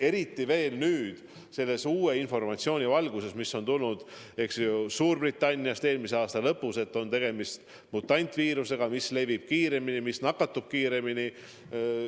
Eriti tähtis on see uue informatsiooni valguses, mis Suurbritanniast eelmise aasta lõpus tuli: seal on tegemist mutantviirusega, mis levib kiiremini, mis nakatab kiiremini.